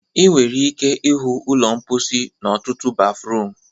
Ị nwere ike ịhụ ụlọ mposi n'ọtụtụ bafruum